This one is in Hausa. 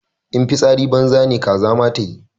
In fitsari banza ne kaza ma tayi.